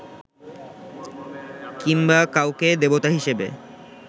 কিংবা কাউকে দেবতা হিসেবে